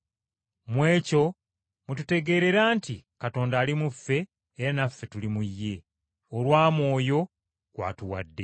Mu ekyo mwe tutegeerera nti Katonda ali mu ffe era naffe tuli mu Ye, olwa Mwoyo gw’atuwadde.